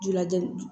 Jula ja